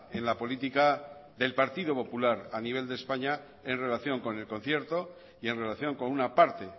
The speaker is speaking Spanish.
en la política del partido popular a nivel de españa en relación con el concierto y en relación con una parte